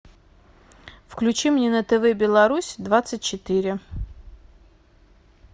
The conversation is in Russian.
включи мне на тв беларусь двадцать четыре